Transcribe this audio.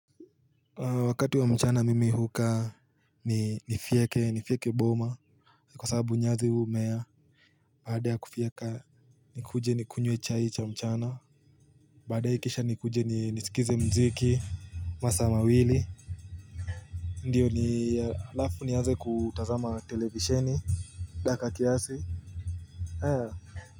Wakati wa mchana mimi hukaa ni nifyeke boma kwa sababu nyasi humea baada ya kufyeka nikuje nikunywe chai cha mchana baadaye ikiisha nikuje nisikize muziki masaa mawili ndiyo alafu nianze kutazama televisheni dakika kiasi.